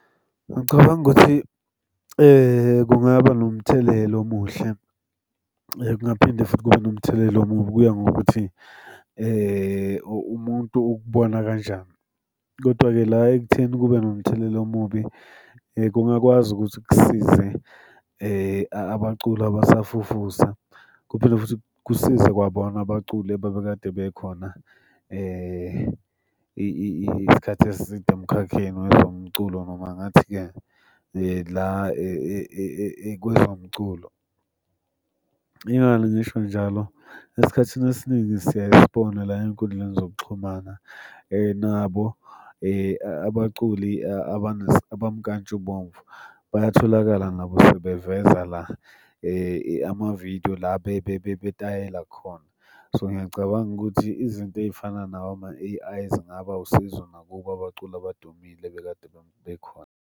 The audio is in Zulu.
Ngicabanga ukuthi kungaba nomthelela omuhle. Kungaphinde futhi kube nomthelela omubi, kuya ngokuthi umuntu ukubona kanjani, kodwa-ke la ekutheni kube nomthelela omubi kungakwazi ukuthi kusize abaculi abasafufusa. Kuphinde futhi kusize kwabona abaculi ababekade bekhona isikhathi eside emkhakheni wezomculo noma ngathi-ke la kwezomculo. Ingani ngisho njalo? Esikhathini esiningi siyaye sibona la ey'nkundleni zokuxhumana nabo abaculi abamkantshubomvu bayatholakala nabo sebevela la amavidiyo la betayela khona. So, ngiyacabanga ukuthi izinto ey'fana nawo ama-A_I zingaba wusizo nakubo abaculi abadumile ebekade bekhona.